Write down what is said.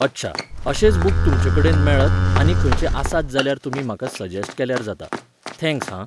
अच्छा, अशेच बूक तुमचेकडेन मेळत आनी खंयचे आसात जाल्यार तुमी म्हाका सजॅस्ट केल्यार जाता. थँक्स, हां.